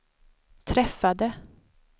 träffade